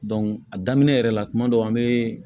a daminɛ yɛrɛ la kuma dɔ an bɛ